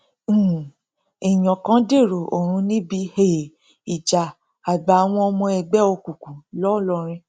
um èèyàn kan dèrò ọrun níbi um ìjà àgbà àwọn ọmọ ẹgbẹ òkùnkùn ńlọrọrìn